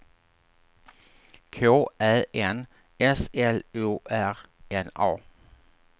K Ä N S L O R N A